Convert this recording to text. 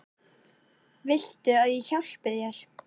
Viltu að ég hjálpi þér?